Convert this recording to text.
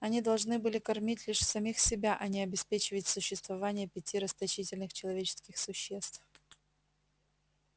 они должны были кормить лишь самих себя а не обеспечивать существование пяти расточительных человеческих существ